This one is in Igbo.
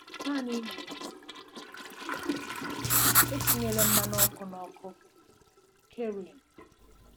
Naanị nwee ndidi. Etinyela mmanụ ọkụ na ọkụ. "- Kerrin.